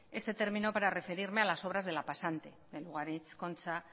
este término para referirme a las obras de la pasante lugaritz la concha